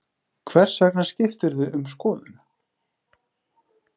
Hvers vegna skiptirðu um skoðun?